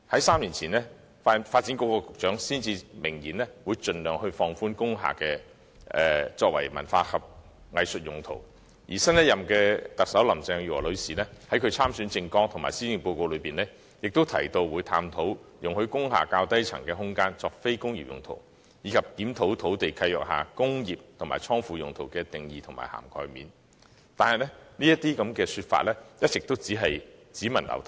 三年前，時任發展局局長明言會盡量放寬工廈作文化藝術用途；新任特首林鄭月娥女士在其參選政綱及施政報告中，亦提到會探討容許工廈較低層空間作非工業用途，以及檢討土地契約下"工業"和"倉庫"用途的定義和涵蓋面，但有關說法卻一直只聞樓梯響。